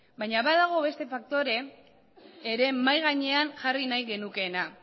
baina badago beste faktore bat ere mahai gainean jarri nahiko genukeena